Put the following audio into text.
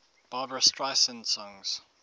barbra streisand songs